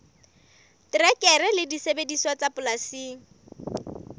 terekere le disebediswa tsa polasing